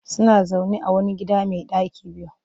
Suna zaune a wani gida mai ɗaki biyu